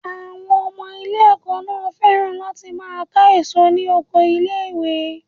Àwọn ọmọ ilé ẹ̀kọ́ náà féràn láti máa ká èso ní oko ilé ìwé.